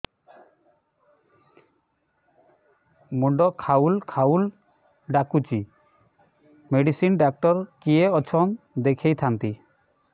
ମୁଣ୍ଡ ଖାଉଲ୍ ଖାଉଲ୍ ଡାକୁଚି ମେଡିସିନ ଡାକ୍ତର କିଏ ଅଛନ୍ ଦେଖେଇ ଥାନ୍ତି